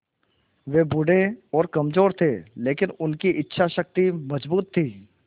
वे बूढ़े और कमज़ोर थे लेकिन उनकी इच्छा शक्ति मज़बूत थी